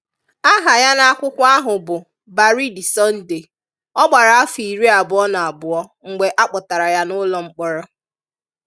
Aha ya n'akwụkwọ ahụ bụ Baridi Sunday, ọ gbara afọ iri abụọ na abụọ mgbe a kpọtara ya n'ụlọmkpọrọ